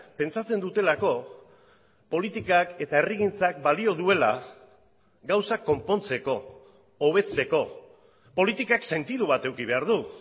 pentsatzen dutelako politikak eta herrigintzak balio duela gauzak konpontzeko hobetzeko politikak sentidu bat eduki behar du